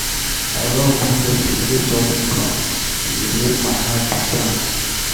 I love wen dem dey play talking drum, e dey make my heart dey dance.